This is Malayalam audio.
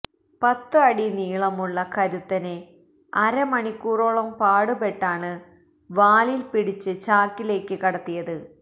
പത്ത് അടി നീളമുള്ള കരുത്തനെ അര മണിക്കൂറോളം പാടു പെട്ടാണ് വാലിൽ പിടിച്ച് ചാക്കിലേക്ക് കടത്തിയത്